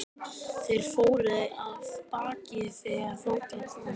Þeir fóru af baki þegar þangað kom.